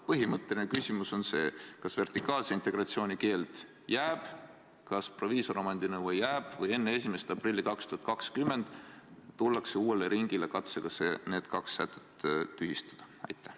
Põhimõtteline küsimus on see: kas vertikaalse integratsiooni keeld jääb, kas proviisoromandi nõue jääb või enne 1. aprilli 2020 tullakse uuele ringile katsega need kaks sätet tühistada?